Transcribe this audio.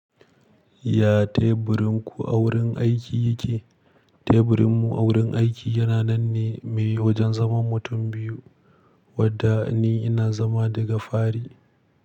Ya teburin ku a wurin aiki yake? Teburin mu a wurin aiki yana nan ne mai wajen zaman mutum biyu, wadda ni ina zama daga fari.